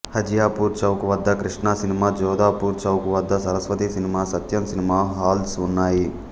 హజియాపూర్ చౌక్ వద్ద కృష్ణా సినిమా జాదోపూర్ చౌక్ వద్ద Saraswati cinema Satyam cinema halls ఉన్నాయి